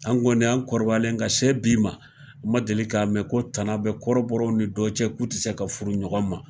An kɔni an kɔrɔbalen ka se bi ma ,ma deli ka mɛn ko tana bɛ kɔrɔbɔrɔw ni dɔ cɛ k'u tɛ se ka furu ɲɔgɔn ma.